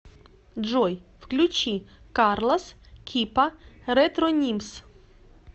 джой включи карлос кипа ретронимс